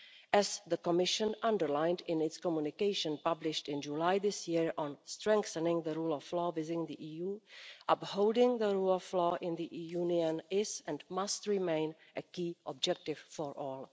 As the Commission underlined in its communication published in July this year on strengthening the rule of law within the EU, upholding the rule of law in the Union is, and must remain, a key objective for all.